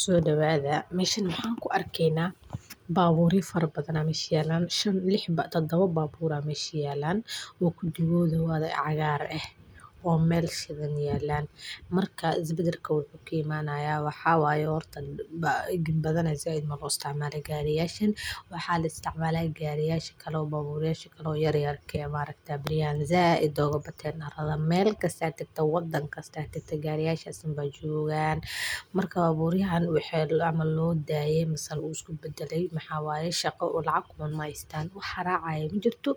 Soo dhawaada, meesha maxaan ku arkeynaa baabuurya fara badana meesha yeelan shan lix badba dawa baabuuri hameysii yeelan. Wuudku dibu wada cagaar ah oo meel shidan yeelan. Markaa isbedelka wuxuu kiimayaa waxyaabo ay orteeyaan. Ba igin badanaa sayd ma loo isticmaala gariyeeshan. Waxaa la isticmaalaa gariyeyaasha kaloo baabuurayaasha kaloo yaryaar ka imaan rag taabnayaa in zee idoogaa bateen arday meel ka saacikta waddan ka saacikta gariyeyaasha san beddugaan. Marka baabuur yahaan wixii loo amal loo daayee misaal uus ku beddelay maxaa waayo shaqo lacag koon may istaan wax xarace ay muujin doonto